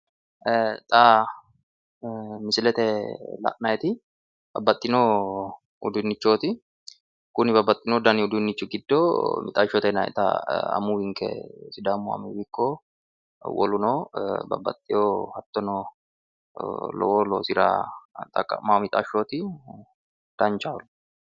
Ee xaa misilete la'nayiti babbaxxino uduunnichooti kuni babbaxxino dani uduunnichi giddo mixashote yinayita amuwinke sidaamu amuwi ikko woluno babbaxxewo hattono lowo loosira xaqqa'mawo mixashooti danchaholla